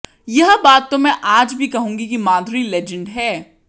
यह बात तो मैं आज भी कहूंगी कि माधुरी लीजेंड है